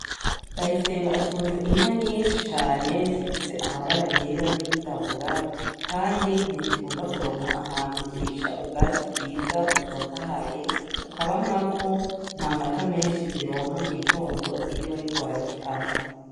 Ndayisenga atunze inka nyinshi cane zifise amabara yera n'ayirabura kandi ntizikunda kuronka ahantu zirisha ubwatsi bwiza butotahaye, kukaba nkako, nta mata menshi zironka mu gitondo iyo bariko barazikamwa.